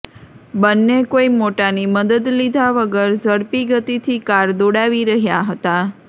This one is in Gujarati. બંને કોઈ મોટાની મદદ લીધા વગર ઝડપી ગતિથી કાર દોડાવી રહ્યા હતા